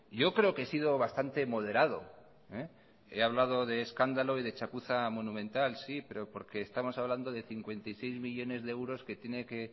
yo creo que he sido bastante moderado he hablado de escándalo y de chapuza monumental sí pero porque estamos hablando de cincuenta y seis millónes de euros que tiene que